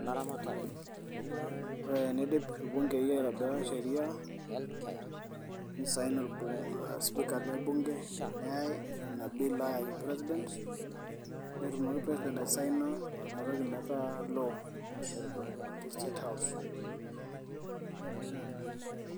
Ore tenidip irbungei aitobira sheriaa, nesaini osipika lebunge neyai Ina bill ayaki president netumoki president asaina Ina toki metaa law te state house